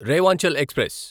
Rewanchal express